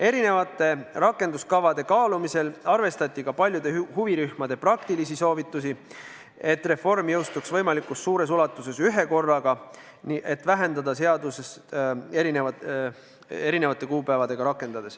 Erinevate rakenduskavade kaalumisel arvestati ka paljude huvirühmade praktilisi soovitusi, et reform jõustuks võimalikult suures ulatuses ühekorraga – eesmärk on, et seaduse rakendamiseks poleks ette nähtud hulka erinevaid kuupäevi.